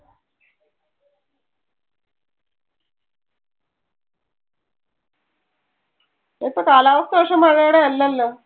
ഇപ്പൊ കാലാവസ്ഥ പക്ഷെ മഴയുടെ അല്ലല്ലോ.